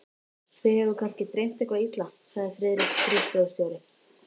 Þig hefur kannski dreymt eitthvað illa, sagði Friðrik skrifstofustjóri.